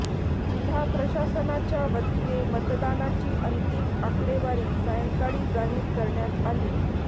जिल्हा प्रशासनाच्या वतीने मतदानाची अंतिम आकडेवारी सायंकाळी जाहीर करण्यात आली